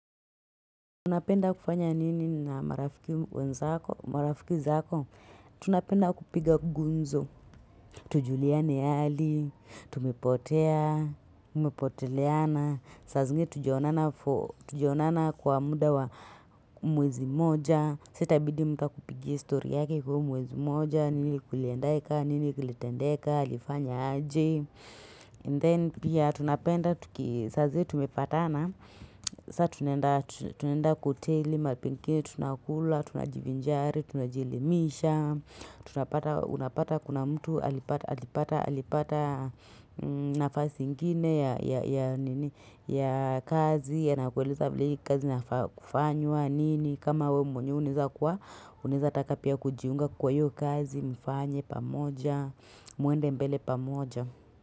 Tunapenda kufanya nini na marafiki wenzako? Marafiki zako, tunapenda kupiga gumzo, tujuliane hali, tumepotea, umepoteleana, sazingi tjaonana kwa muda wa mwezi mmoja, sa itabidi mtu amekupigia story yake kwa mwezi moja, nini kuliendeka, nini kilitendeka, lifanya aje, And then pia tunapenda, saa zile tumepatana, saa tunaenda kwa hoteli mapike, tunakula, tunajivinjari, tunajilimisha, tunapata kuna mtu alipata nafasi ingine ya kazi, yanakueleza vile kazi inafaa kufanywa nini, kama we mwenyewe unaezakuwa, unaezataka pia kujiunga kwa hiyo kazi mfanye pamoja, mwende mbele pamoja.